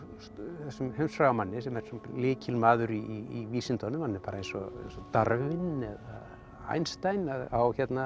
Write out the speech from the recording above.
þessum heimsfræga manni sem er lykilmaður í vísindunum hann er bara eins og Darwin eða Einstein en á